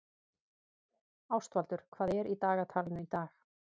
Ástvaldur, hvað er í dagatalinu í dag?